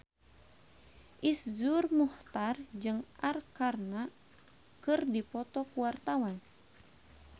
Iszur Muchtar jeung Arkarna keur dipoto ku wartawan